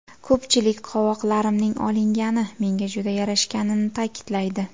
Ko‘pchilik qovoqlarimning olingani menga juda yarashganini ta’kidlaydi.